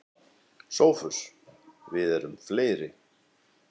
SOPHUS: Við erum fleiri.